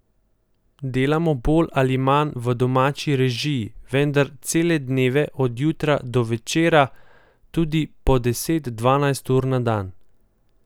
Delamo bolj ali manj v domači režiji, vendar cele dneve, od jutra do večera, tudi po deset, dvanajst ur na dan.